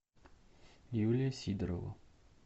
юлия сидорова